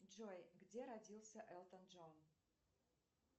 джой где родился элтон джон